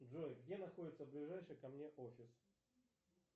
джой где находится ближайший ко мне офис